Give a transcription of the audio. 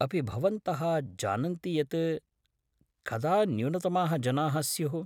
अपि भवन्तः जानन्ति यत् कदा न्यूनतमाः जनाः स्युः ?